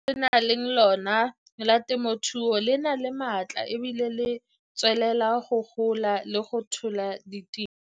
Lekala le re nang le lona la temothuo le na le maatla e bile le tswelela go gola le go tlhola ditiro.